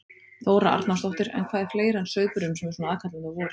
Þóra Arnórsdóttir: En hvað er fleira en sauðburðurinn sem er svona aðkallandi á vorin?